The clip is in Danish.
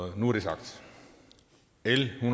nu er det sagt l en